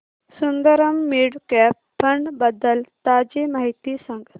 Sundaram mid cap fund बद्दल ताजी माहिती सांग